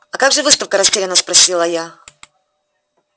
а как же выставка растеряно спросила я